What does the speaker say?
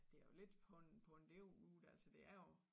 Det jo lidt på en på en deroute altså det er jo